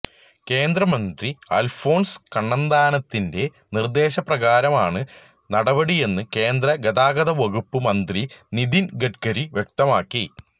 കേന്ദ്ര മന്ത്രി അല്ഫോണ്സ് കണ്ണന്താനത്തിന്റെ നിര്ദേശ പ്രകാരമാണ് നടപടിയെന്ന് കേന്ദ്ര ഗതാഗത വകുപ്പു മന്ത്രി നിതിന് ഗഡ്കരി വ്യക്തമാക്കി